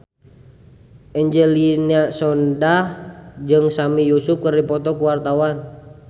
Angelina Sondakh jeung Sami Yusuf keur dipoto ku wartawan